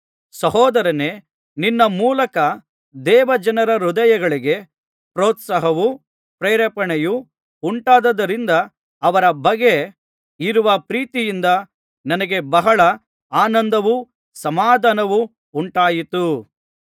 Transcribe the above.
ಸಹೋದರನೇ ನಿನ್ನ ಮೂಲಕ ದೇವಜನರ ಹೃದಯಗಳಿಗೆ ಪ್ರೋತ್ಸಾಹವೂ ಪ್ರೇರಣೆಯೂ ಉಂಟಾದುದರಿಂದ ಅವರ ಬಗ್ಗೆ ಇರುವ ಪ್ರೀತಿಯಿಂದ ನನಗೆ ಬಹಳ ಆನಂದವೂ ಸಮಾಧಾನವೂ ಉಂಟಾಯಿತು